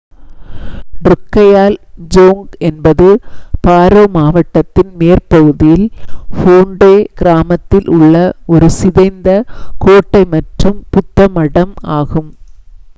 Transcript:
ட்ருக்கையால் ஜோங் என்பது பாரோ மாவட்டத்தின் மேற்பகுதியில் ஃபோண்டே கிராமத்தில் உள்ள ஒரு சிதைந்த கோட்டை மற்றும் புத்த மடம் ஆகும்